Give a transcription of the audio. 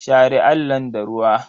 Share allon da ruwa.